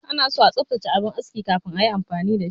Anaso a tsaftace abin aski kafin ayi amfani da shi.